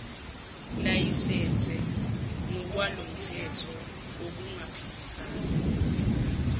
layisense ngokwalomthetho ngokungaphikisani